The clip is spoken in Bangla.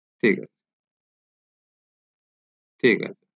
ঠিক আছে ঠিক আছে